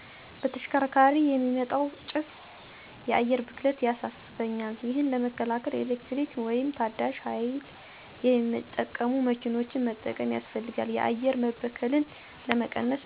በተሽከርካሪ የሚወጣው ጭሰ የአየር ብክለት ያሳሰበኛል። ይሄን ለመከላከል የኤሌክትሪክ ወይም ታዳሸ ሀይል የሚጠቀሙ መኪኖችን መጠቀም ያሰፈልጋል የአየር መበከልን ለመቀነሰ።